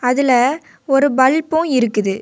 இதுல ஒரு பல்பு இருக்குது.